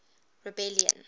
rebellion